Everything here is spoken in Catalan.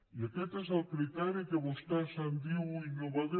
i aquest és el criteri que vostè en diu innovador